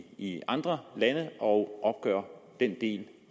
i andre lande og opgør den del